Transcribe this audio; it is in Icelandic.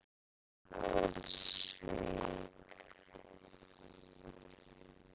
Breiðdalsvík